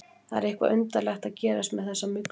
Það er eitthvað undarlegt að gerast með þessa mygluholu.